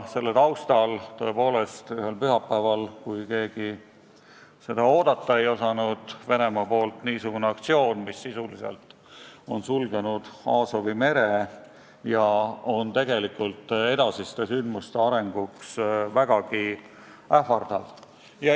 Selle taustal, tõepoolest, ühel pühapäeval, kui keegi seda oodata ei osanud, toimus Venemaa niisugune aktsioon, mis sisuliselt on sulgenud Aasovi mere ja on sündmuste edasise arengu mõttes vägagi ähvardav.